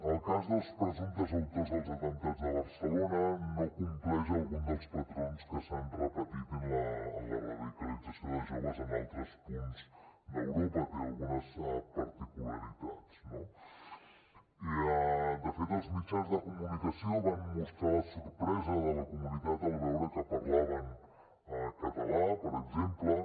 el cas dels presumptes autors dels atemptats de barcelona no compleix alguns dels patrons que s’han repetit en la radicalització de joves en altres punts d’europa té algunes particularitats no de fet els mitjans de comunicació van mostrar la sorpresa de la comunitat al veure que parlaven català per exemple